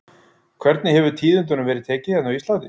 Hvernig hefur tíðindunum verið tekið hérna á Íslandi?